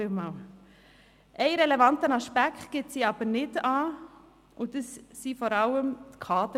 Einen relevanten Aspekt gibt sie aber nicht an, und das sind vor allem die Kaderlöhne.